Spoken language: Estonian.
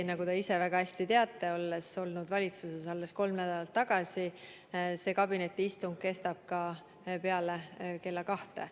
Nagu te ise väga hästi teate, kuna olite valitsuses alles kolm nädalat tagasi, kestab kabinetiistung ka peale kella kahte.